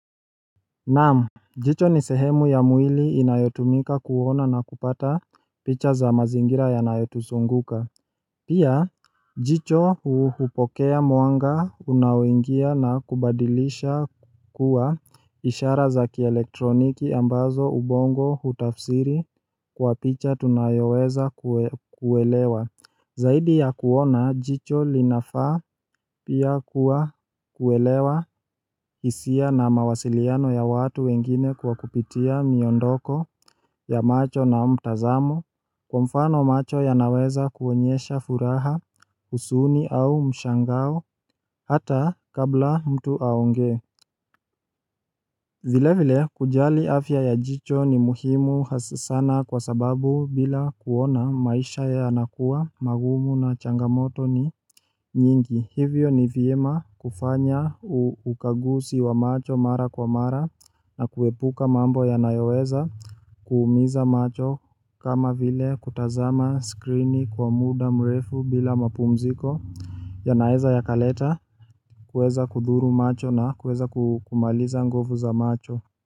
Naam jicho ni sehemu ya mwili inayotumika kuona na kupata picha za mazingira yanayotuzunguka Pia jicho hupokea mwanga unaoingia na kubadilisha kuwa ishara za kielektroniki ambazo ubongo hutafsiri kwa picha tunayoweza kuelewa Zaidi ya kuona jicho linafaa pia kuwa kuelewa hisia na mawasiliano ya watu wengine kwa kupitia miondoko ya macho na mtazamo Kwa mfano macho yanaweza kuonyesha furaha huzuni au mshangao hata kabla mtu aongee vile vile kujali afya ya jicho ni muhimu hasa sana kwa sababu bila kuona maisha yanakuwa magumu na changamoto ni nyingi hivyo ni vyema kufanya ukaguzi wa macho mara kwa mara na kuepuka mambo yanayoweza kuumiza macho kama vile kutazama skrini kwa muda mrefu bila mapumziko yanaweza yakaleta kuweza kuthuru macho na kuweza kumaliza nguvu za macho.